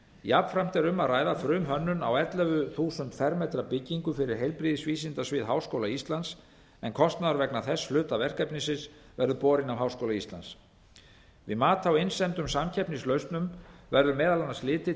jafnframt er um að ræða frumhönnun á ellefu þúsund fermetra byggingu fyrir heilbrigðisvísindasvið háskóla íslands en kostnaður vegna þess hluta verkefnisins verður borinn af háskóla íslands við mat á innsendum samkeppnislausnum verður meðal annars litið